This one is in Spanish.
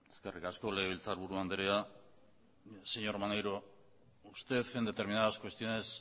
eskerrik asko legebiltzar buru andrea señor maneiro usted en determinadas cuestiones